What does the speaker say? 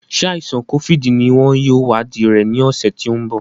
Ṣé àìsàn kófíìdì ní wọn yóò wadii rẹ ní ọ̀sẹ̀ tí ń bọ̀